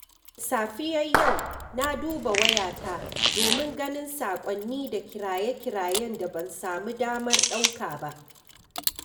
Da safiyar yau na duba wayata domin ganin saƙonni da kiraye-kirayen da ban samu damar ɗauka ba.